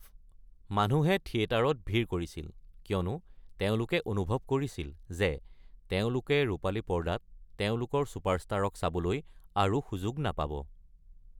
মানুহে থিয়েটাৰত ভিৰ কৰিছিল, কিয়নো তেওঁলোকে অনুভৱ কৰিছিল যে তেওঁলোকে ৰূপালী পৰ্দাত তেওঁলোকৰ চুপাৰষ্টাৰক চাবলৈ আৰু সুযোগ নাপাব।